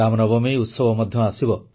ରାମନବମୀ ଉତ୍ସବ ମଧ୍ୟ ଆସିବ